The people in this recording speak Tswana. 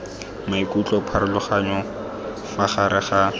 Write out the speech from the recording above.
maikutlo pharologanyo fa gare ga